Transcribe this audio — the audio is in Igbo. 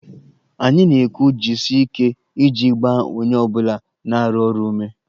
Anyị na-ekwu 'jisie ike' iji gbaa onye ọ bụla na-arụ ọrụ ume